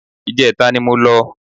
Ìjẹta ni mo lọ